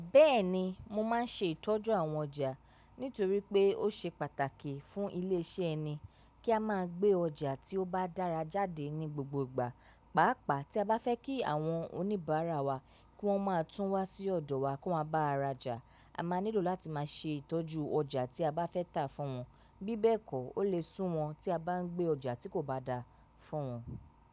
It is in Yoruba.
Bẹ́ẹ̀ni, mo máa ń ṣe ìtọ́jú àwọn ọjà nítorí pé ó ṣe pàtàkì fún ilé iṣẹ́ ẹni kí a máa gbé ọjà tí ó bá dára jáde ní gbogbo ìgbà. Pàápàá tí a bá fẹ́ kí àwọn oníbàárà wa kí wọ́n máa tún wá sí ọ̀dọ̀ wa kó máa bá ara jà, a máa nílò láti máa ṣe ìtọ́jú ọjà tí a bá fẹ́ tà fún wọn. Bí bẹ́ẹ̀ kọ́ ó lè sú wọn tí a bá ń gbé ọjà tí kò bá dáa fún wọn.